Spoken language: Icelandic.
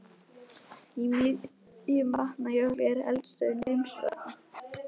Í miðjum Vatnajökli er eldstöðin Grímsvötn.